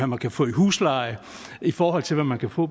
man kan få i husleje i forhold til hvad man kan få